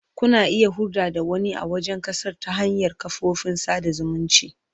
Kuna iya hulɗa da wani a wajen ƙasar ta hanyar kafofin sada zumunci.